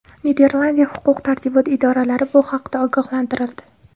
Niderlandiya huquq-tartibot idoralari bu haqda ogohlantirildi.